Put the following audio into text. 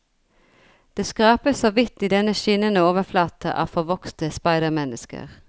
Det skrapes så vidt i denne skinnende overflate av forvokste speidermennesker.